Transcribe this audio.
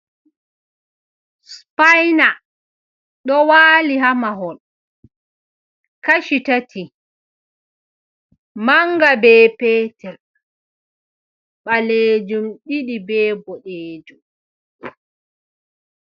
Supayna ɗo waali haa mahol kaci tati, mannga be petel, ɓaleejum ɗiɗi be boɗeejum.